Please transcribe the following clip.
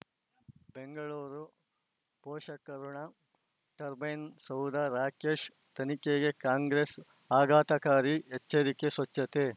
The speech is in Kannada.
ಬೆಂಗಳೂರು ಪೋಷಕಋಣ ಟರ್ಬೈನು ಸೌಧ ರಾಕೇಶ್ ತನಿಖೆಗೆ ಕಾಂಗ್ರೆಸ್ ಆಘಾತಕಾರಿ ಎಚ್ಚರಿಕೆ ಸ್ವಚ್ಛತೆ